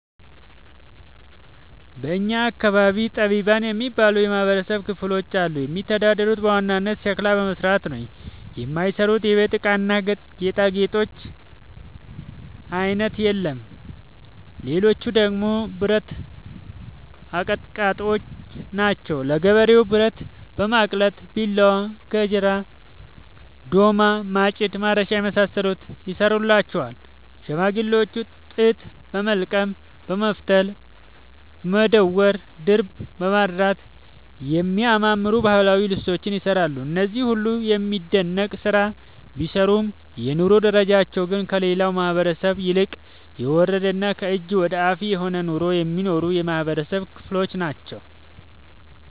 በእኛ አካባቢ ጠቢባን የሚባሉ የማህበረሰብ ክፍሎች አሉ። የሚተዳደሩት በዋናነት ሸክላ በመስራት ነው። የማይሰሩት የቤት እቃና ጌጣጌጥ አይነት የለም ሌቹ ደግሞ ብረት አቀጥቃጭጮች ናቸው። ለገበሬው ብረት በማቅለጥ ቢላዋ፣ ገጀራ፣ ዶማ፣ ማጭድ፣ ማረሻ የመሳሰሉትን ይሰሩለታል። ሸማኔዎች ጥጥ በወልቀም በመፍተል፣ በማዳወር፣ ድር በማድራት የሚያማምሩ ባህላዊ ልብሶችን ይሰራሉ። እነዚህ ሁሉም የሚደነቅ ስራ ቢሰሩም የኑሮ ደረጃቸው ግን ከሌላው ማህበረሰብ ይልቅ የወረደና ከእጅ ወዳፍ የሆነ ኑሮ የሚኖሩ የማህበረሰብ ክሎች ናቸው።